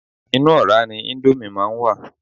Inú ọ̀rá ni íńdómì máa ń wà.